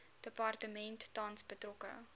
departement tans betrokke